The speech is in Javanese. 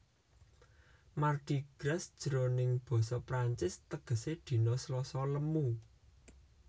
Mardi Gras jroning basa Prancis tegesé dina Slasa lemu